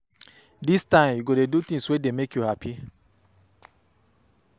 Dis time, you go dey do tins wey dey make you hapi.